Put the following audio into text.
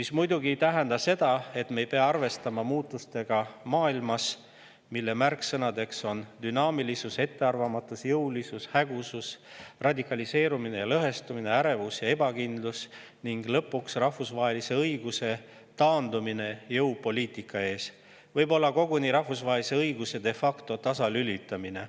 See muidugi ei tähenda seda, et me ei pea arvestama maailmas toimuvate muutustega, mille märksõnad on dünaamilisus, ettearvamatus, jõulisus, hägusus, radikaliseerumine, lõhestumine, ärevus ja ebakindlus ning lõpuks rahvusvahelise õiguse taandumine jõupoliitika ees, võib-olla koguni rahvusvahelise õiguse de facto tasalülitamine.